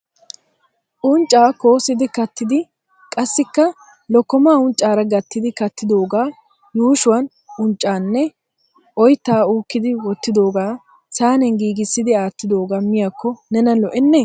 uncca koossidi kattidi qassikka lokkomaa unccaara gattidi kattidooga yuushshuwan unccanne oytta uukidi wottidooga saaniyan giigisi aattidoogee miyooko nena lo''enne ?